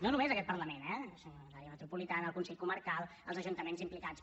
no només aquest parlament eh sinó l’àrea metropolitana el consell comarcal els ajuntaments implicats